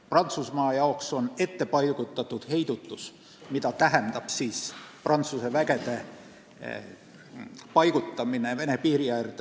Prantsuse üksuste paigutamine Vene piiri äärde kujutab endast nn ettepaigutatud kohalolekuga heidutust.